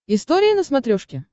история на смотрешке